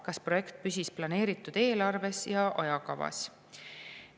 Kas projekt püsis planeeritud eelarves ja ajakavas?